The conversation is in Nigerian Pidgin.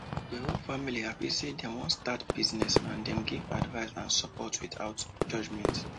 the whole family happy say dem wan start business and dem give advice and support without judgment